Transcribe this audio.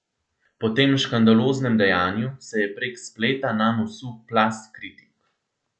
Po tem škandaloznem dejanju se je prek spleta nanj usul plaz kritik.